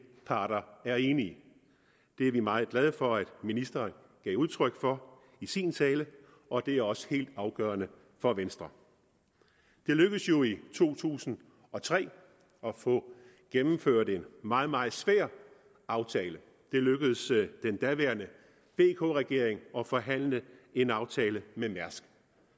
parter er enige det er vi meget glade for at ministeren gav udtryk for i sin tale og det er også helt afgørende for venstre det lykkedes jo i to tusind og tre at få gennemført en meget meget svær aftale det lykkedes den daværende vk regering at forhandle en aftale med mærsk